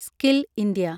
skill India